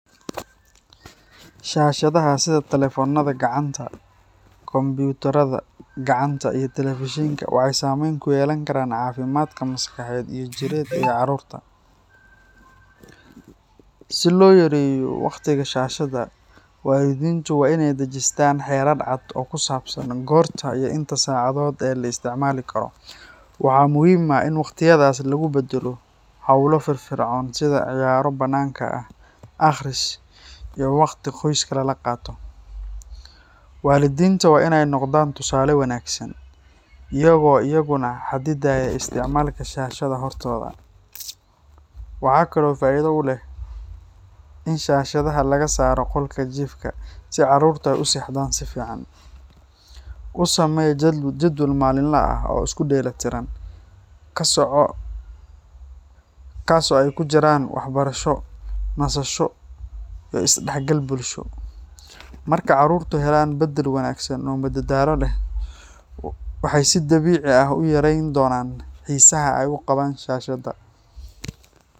Shashadaxa sidhi talephonada gacanta computer gacanta, iyo television waxay sameyn kuyelankaran cafimad maskaxiyed iyo jirada carurta, si loyareyo wagtiga shashada, walidintu wa inay dajistan oo kusabsan gorta iyo inta sacadod ay laisticmalikaro, waxa muxiim ah in wagtiyadas lagubadalo xowla firfircoun, sidha ciyaro bananka ah, aqris iyo wagti qoyska lalaqato, walidinta wa inay nogdan tusale wanagsan, iyago iyaguna xadidaya isticmalka shashada xortoda, waxa kale oo faida uleh, in shashadaxa lagasaro golka jifka, Si carurta usexdan si fican, usamee jadwal malinla ah oo iskudelatiran, kasoco taas oy kujiran wax yalo waxbarasho, nasasho iyo isdaxgal bulshado, marka carurta xelan badal wanagsan oo madadalo leh, waxay si dabici ah uyareyn donan xisaha ay ugawan shashada.